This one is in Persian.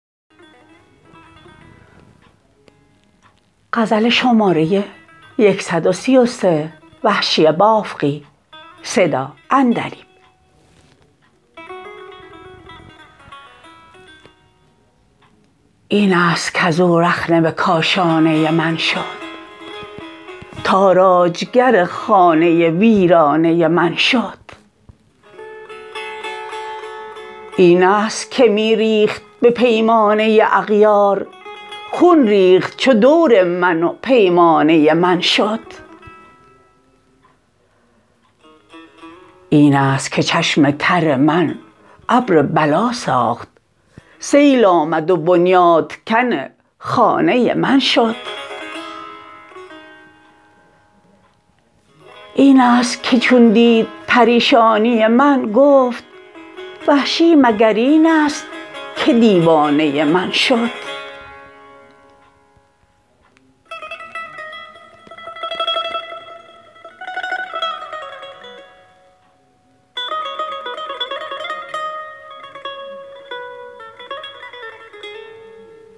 اینست کزو رخنه به کاشانه من شد تاراجگر خانه ویرانه من شد اینست که می ریخت به پیمانه اغیار خون ریخت چو دور من و پیمانه من شد اینست که چشم تر من ابر بلا ساخت سیل آمد و بنیاد کن خانه من شد اینست که چون دید پریشانی من گفت وحشی مگر اینست که دیوانه من شد